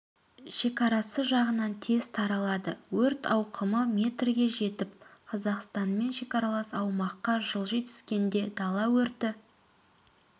шекарасы жағына тез таралады өрт ауқымы метрге жетіп қазақстанмен шекаралас аумаққа жылжи түскенде дала өрті